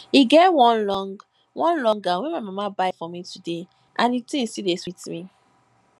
e get one long one long gown my mama buy for me today and the thing still dey sweet me